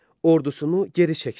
Ordusunu geri çəkdi.